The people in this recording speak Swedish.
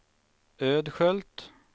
Ödskölt